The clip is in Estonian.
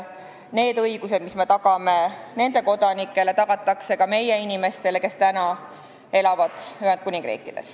Need õigused, mis meie tagame nende kodanikele, tagatakse ka meie inimestele, kes elavad praegu Ühendkuningriigis.